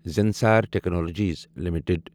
Zensar technologies limited